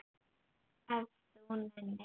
Ef þú nennir.